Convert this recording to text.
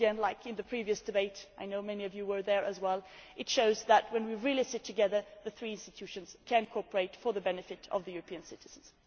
Once again, as in the previous debate I know many of you were there as well it shows that, when we really sit together, the three institutions can cooperate for the benefit of the European citizens.